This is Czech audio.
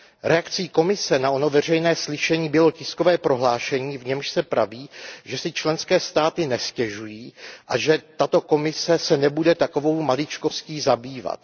Reakcí Komise na ono veřejné slyšení bylo tiskové prohlášení, v němž se praví, že si členské státy nestěžují a že tato Komise se nebude takovou maličkostí zabývat.